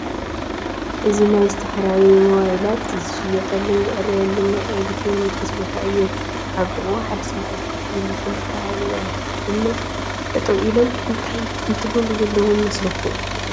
እዚ ናይ ዝተፈላለዩ ሞባይላት ዝሽየጠሉን ዝዕረየሉን ናይ ኤሌክትሮኒስ ቦታ እዩ፡፡ ኣብ ጥቕኡ ሓደ ሰብኣይ ኮፍ ኢሉ፡፡ ክልተ ኣወዳት ድማ ጠጠው ኢሎም እንታይ እንትገብሩ ዘለው ይመስለኩም?